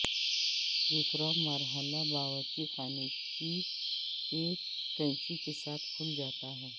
دوسرا مرحلہ باورچی خانے کے کینچی کے ساتھ کھل جاتا ہے